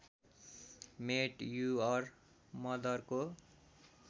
met your मदरको